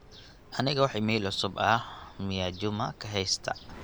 aniga wax iimayl cusub ah miyaa juma kahaysta